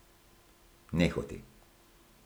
Nehote.